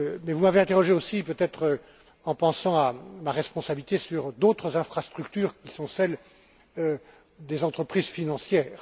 Vous m'avez interrogé aussi, peut être en pensant à ma responsabilité, sur d'autres infrastructures qui sont celles des entreprises financières.